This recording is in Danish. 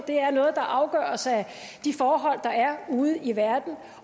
det er noget der afgøres af de forhold der er ude i verden